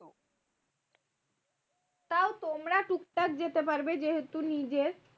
তাউ তোমরা টুকটাক যেতে পারবে যেহেতু নিজের।